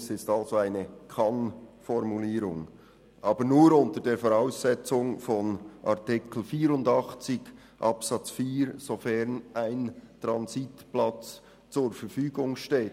Es ist eine «kann»Formulierung, aber nur unter der Voraussetzung von Artikel 84 Absatz 4 sofern ein Transitplatz zur Verfügung steht.